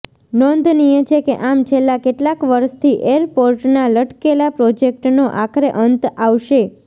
નોંધનીય છે કે આમ છેલ્લા કેટલાક વર્ષથી એરપોર્ટના લટકેલા પ્રોજેક્ટનો આખરે અંત આવશે